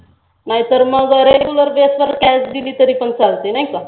नाहीतर मग रेगुलर जे असताना cash दिली तरी पण चालते नाही का?